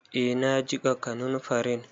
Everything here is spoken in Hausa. Eh na jiƙa kanunfarin.